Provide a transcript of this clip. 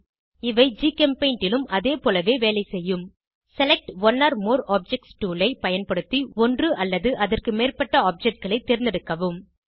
இவை ஜிகெம்பெய்ண்ட் லும் அதேபோல வேலை செய்யும் select one or more objects tool ஐ பயன்படுத்தி ஒன்று அல்லது அதற்குமேற்பட்ட Objectகளை தேர்ந்தெடுக்கவும்